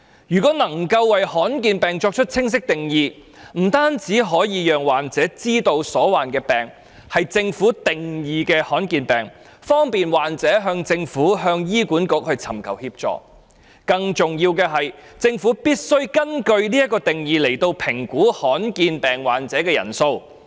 如果能夠為罕見疾病作出清晰定義，不單可以讓患者知道所患疾病是政府定義的罕見疾病，方便患者向政府和醫院管理局尋求協助，更重要的是，政府必須根據這個定義來評估罕見疾病患者的人數。